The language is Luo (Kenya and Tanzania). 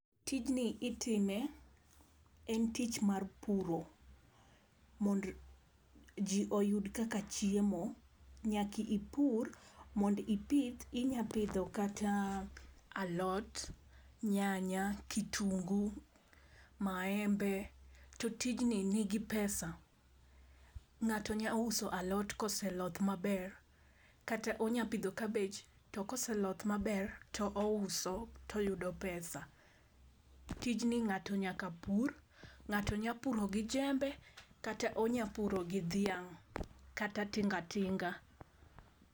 Tijni itime, en tich mar puro. Mondo ji oyud kaka chiemo, nyaka ipur mondo ipith. Inyalo pidho kata alot, nyanya. kitungu, maembe to tijni nigi pesa. Ng'ato nyalo uso alot koseloth maber kata onyalo pidho kabich to ka oseloth maber to ouso toyudo pesa. Tijni ng'ato nyaka pur, ng'ato nyalo puro gi jembe, kata onyalo puro gi dhiang', kata tinga tinga.